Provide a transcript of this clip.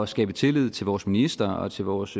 skabe tillid til vores minister og til vores